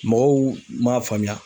Mɔgɔw m'a faamuya.